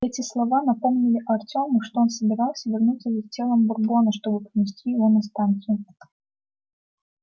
эти слова напомнили артему что он собирался вернуться за телом бурбона чтобы принести его на станцию